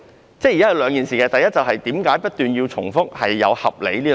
我想提出兩點，第一，為何不斷重複"合理"一詞。